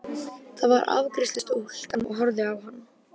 Þar var afgreiðslustúlkan og horfði á hann.